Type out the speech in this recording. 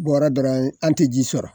Bɔrɔ dɔrɔn ye an te ji sɔrɔ